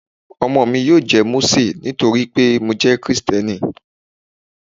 Ọmọ mi yóò jẹ́ Mósè nítorí pé mo jẹ́ Kristẹni.